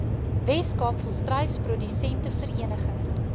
weskaap volstruisprodusente vereniging